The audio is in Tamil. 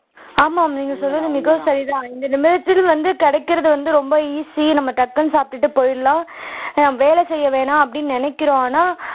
ஆமாம் நீங்க சொன்னது மிகவும் சரிதான் இந்த நிமிஷத்தில் வந்து கிடைக்கிறது வந்து ரொம்ப easy நம்ம டக்குன்னு சாப்பிட்டுட்டு போயிடலாம் ஆஹ் வேலை செய்ய வேணாம் அப்படின்னு நினைக்கிறோம் ஆனால்